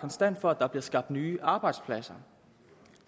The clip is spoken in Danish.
konstant på at der bliver skabt nye arbejdspladser